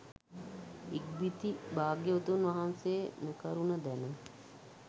ඉක්බිති භාග්‍යවතුන් වහන්සේ මෙකරුණ දැන